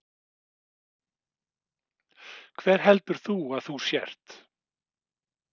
Hver heldur þú að þú sért?